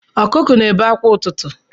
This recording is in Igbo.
ọkụkụ na-ebe akwa ụtụtụ